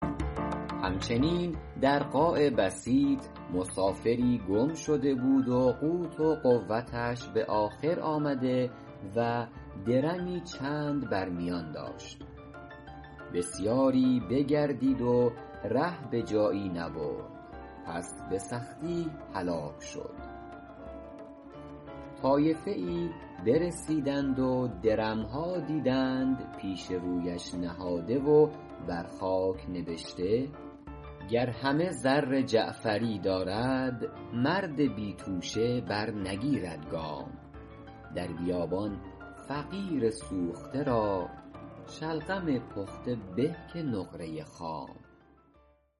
هم چنین در قاع بسیط مسافری گم شده بود و قوت و قوتش به آخر آمده و درمی چند بر میان داشت بسیاری بگردید و ره به جایی نبرد پس به سختی هلاک شد طایفه ای برسیدند و درم ها دیدند پیش رویش نهاده و بر خاک نبشته گر همه زر جعفری دارد مرد بی توشه برنگیرد گام در بیابان فقیر سوخته را شلغم پخته به که نقره خام